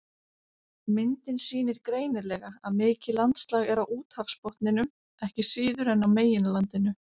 Myndin sýnir greinilega að mikið landslag er á úthafsbotninum ekki síður en á meginlandinu.